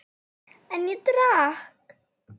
En ég drakk.